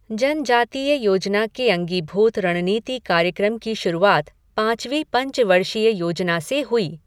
जनजातीय योजना के अंगीभूत रणनीति कार्यक्रम की शुरुआत पाँचवी पंचवर्षीय योजना से हुई।